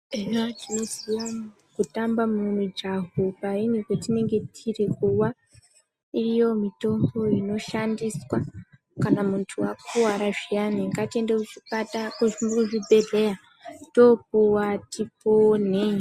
Hino tinoziya kutamba mumijaho kwatinenge tiri kuva iriyo mitombo inoshandiswa kana muntu akuwara zviyani ngatiende kuzvibhehleya tokuwa tiponhe.